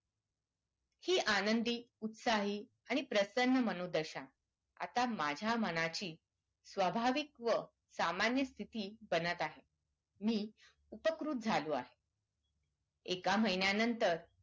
हि आनंदी उत्साही आणि प्रसन्न मनोदशा आता माझ्या मनाची स्वाभाविक व सामान्य स्थिति बनत आहेत मी उपकृत झालो आहे एका महिन्या नंतर